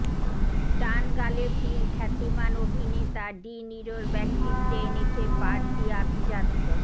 ডান গালে তিল খ্যাতিমান অভিনেতা ডি নিরোর ব্যক্তিত্বে এনেছে বাড়তি আভিজাত্য